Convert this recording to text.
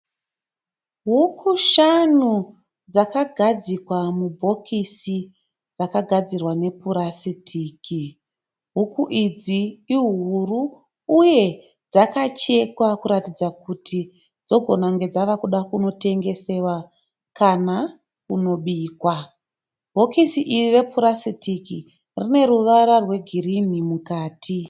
Huku shanu dzakagadzikwa mubhokisi rakagadzirwa nepurasitiki. Huku idzi ihuru uye dzakachekwa kuratidza kuti dzogona kunge dzava kuda kunotengeswa kana kubikwa. Bhokisi iri rine ruvara rwegirinhi mukati.